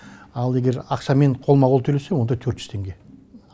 ал егер ақшамен қолма қол төлесе онда төрт жүз теңге